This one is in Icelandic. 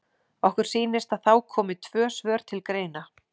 Okkur sýnist að þá komi tvö svör til greina.